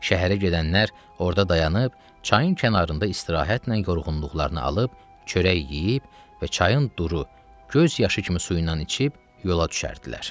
Şəhərə gedənlər orada dayanıb, çayın kənarında istirahətlə yorğunluqlarını alıb, çörək yeyib və çayın duru göz yaşı kimi suyu ilə içib yola düşərdilər.